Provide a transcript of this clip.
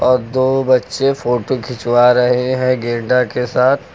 और दो बच्चे फोटो खिंचवा रहे हैं गैंडा के साथ।